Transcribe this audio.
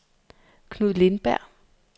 Knud Lindberg